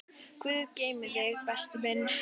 Guð geymi þig, besti minn.